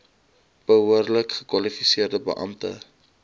behoorlik gekwalifiseerde beampte